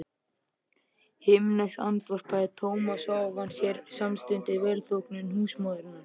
Himneskt andvarpaði Thomas og ávann sér samstundis velþóknun húsmóðurinnar.